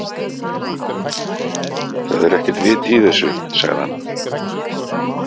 Það er ekkert vit í þessu, sagði hann.